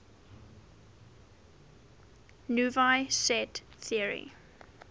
naive set theory